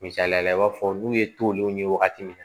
Misaliyala i b'a fɔ n'u ye tolenw ye wagati min na